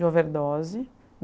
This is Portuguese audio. De overdose.